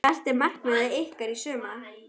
Hvert er markmið ykkar í sumar?